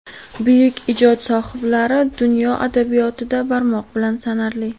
buyuk ijod sohiblari dunyo adabiyotida barmoq bilan sanarli.